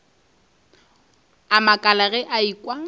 a makala ge a ekwa